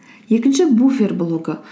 екінші буффер блогы